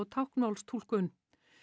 táknmálstúlkun